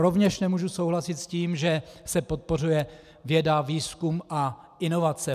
Rovněž nemůžu souhlasit s tím, že se podporuje věda, výzkum a inovace.